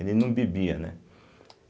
Ele não bebia, né?